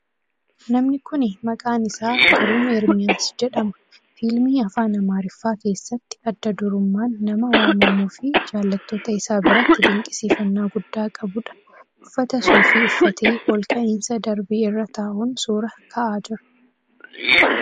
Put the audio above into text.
Namni kuni maqaan isaa Giruum Eermiyaas jedhama. Fiilmii afaan Amaariffaa keessatti adda durumman nama waamamuu fii jaalattoota isaa biratti dinqisiifannaa gudda qabuudha. Uffata suufii uffatee olka'iinsa darbii irra taa'un suuraa ka'aa jira.